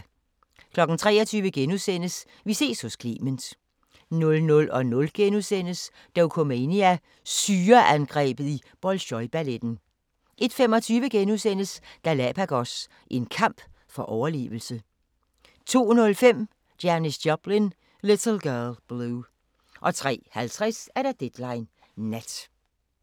23:00: Vi ses hos Clement * 00:00: Dokumania: Syreangrebet i Bolsjoj-balletten * 01:25: Galapagos – en kamp for overlevelse * 02:05: Janis Joplin – Little Girl Blue 03:50: Deadline Nat